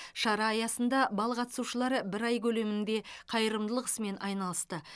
шара аясында бал қатысушылары бір ай көлемінде қайырымдылық ісімен айналысты